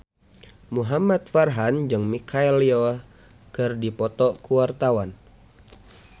Muhamad Farhan jeung Michelle Yeoh keur dipoto ku wartawan